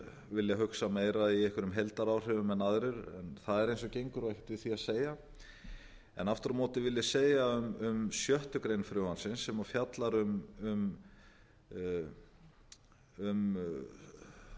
vilja hugsa meira í einhverjum heildaráhrifum en aðrir en það er eins og gengur og ekkert við því að segja aftur á móti vil ég segja um sjöttu greinar frumvarpsins sem fjallar um